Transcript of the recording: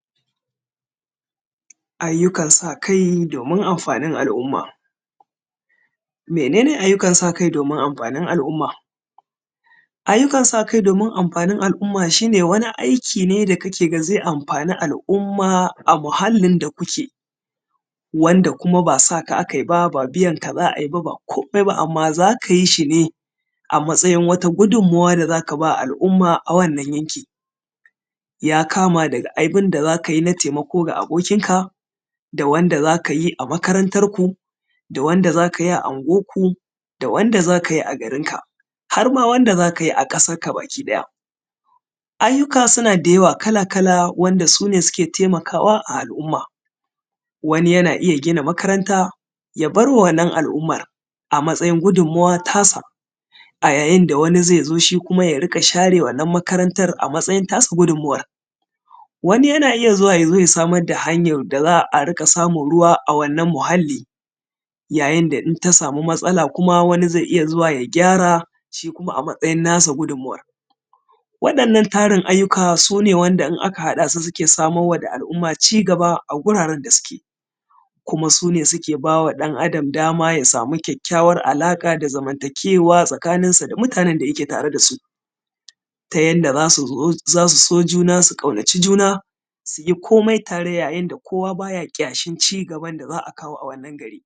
ayyukan sa kai domin amfanin al’umma mene ne ayyukan sa kai domin amfanin al’umma ayyukan sa kai domin amfanin al’umma shine wani aiki ne da ka ke ganin zai amfani al'umma a muhalin da kuke wanda kuma ba sa ka aka yi ba ba biyanka za a yi ba ba komai ba amman za ka yi shi ne a matsayin wata gudunmuwa da za ka ba al'umma a wannan yanki ya kama da abunda za ka yi na taimako ga abokin ka da wanda za ka yi a makarantanku da wanda za ka yi a unguwanku da wanda za ka yi a garinka harma wanda za ka yi a ƙasarka baki ɗaya ayyuka suna da yawa kala kala wanda sune suke taimakawa a al'umma wani yana iya gina makaranta ya bar ma wannan al'umma a matsayin gudunmuwa ta sa a yayin da wani zai zo shi kuma ya dinga share wannan makaranta a matsayin ta shi gudunmuwan wani yana iya zuwa ya zo ya samar da hanyan da za a riƙa samun ruwa a wannan muhalli yayin da in ta samu matsala kuma wani zai iya zuwa ya gyara shi kuma a matsayin na sa gudunmuwan waɗannan tarin ayyuka su ne wanda in aka haɗa su suke samar ma da al'umma cigaba a guraren da suke kuma sune wanda suke ba ɗan adam dama ya samu ƙwaƙƙawrar alaƙa da zamantakewa tsakaninsu da mutanen da yake tare da su ta yadda za su so juna su ƙaunaci juna su yi komai tare yayin da kowa baya ƙyashin cigaban da za a kawo a wannan gari